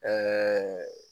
Ɛɛɛ